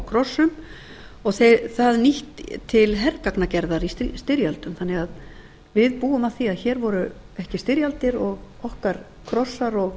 krossum og það nýtt til hergagnagerðar í styrjöldum þannig að við búum að því að hér voru ekki styrjaldir og okkar krossar og